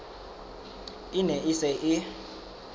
e ne e se e